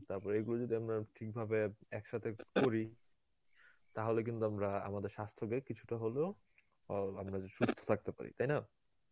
তারপরে এইগুলো যদি আমরা ঠিকভাবে একসাথে করি তাহলে কিন্তু আমরা আমাদের স্বাস্থ্যকে কিছুটা হলেও অ আমরা হচ্ছে সুস্থ থাকতে পারি, তাইনা?